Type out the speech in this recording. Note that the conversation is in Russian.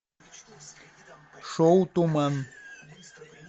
шоу туман